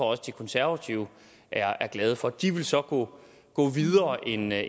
også de konservative er glade for de vil så gå videre end